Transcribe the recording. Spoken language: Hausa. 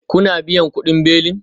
Kuna biyan kudin belin?